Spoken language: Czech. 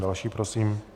Další prosím.